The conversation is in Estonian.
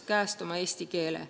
– käest oma eesti keele.